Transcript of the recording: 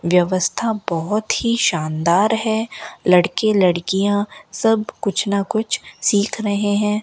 व्यवस्था बहोत ही शानदार है लड़के लड़कियां सब कुछ ना कुछ सीख रहे है।